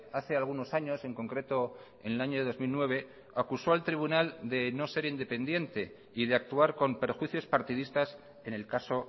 hace algunos años en concreto en el año dos mil nueve acuso al tribunal de no ser independiente y de actuar con perjuicios partidistas en el caso